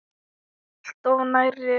Alltof nærri.